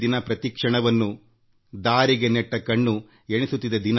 ದಿನಗಳು ಮತ್ತು ಕ್ಷಣಗಳನ್ನು ಎಣಿಸುತ್ತಲಿವೆ